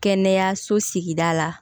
Kɛnɛyaso sigida la